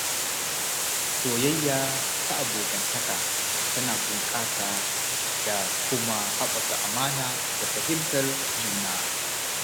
Soyayya ta abokantaka tana bunƙasa da kuma haɓaka amana da fahimtar juna.